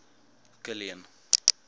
kilian